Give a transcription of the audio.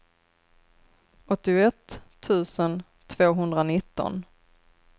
åttioett tusen tvåhundranitton